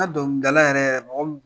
dɔnkilidala yɛrɛ yɛrɛ mɔgɔ min